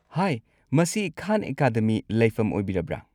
ꯍꯥꯏ, ꯃꯁꯤ ꯈꯥꯟ ꯑꯦꯀꯥꯗꯃꯤ ꯂꯩꯐꯝ ꯑꯣꯏꯕꯤꯔꯕ꯭ꯔꯥ?